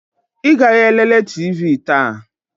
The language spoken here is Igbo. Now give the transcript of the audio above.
Ị gaghị elele TV taa?